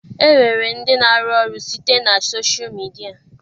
E nwere ndị na-arụ ọrụ site na soshal midia.